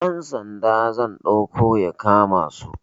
Dan Sanda zan ɗauko ya kama su